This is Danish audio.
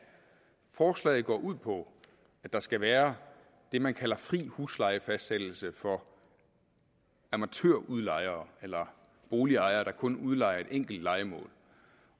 forslaget går ud på at der skal være det man kalder fri huslejefastsættelse for amatørudlejere eller boligejere der kun udlejer et enkelt lejemål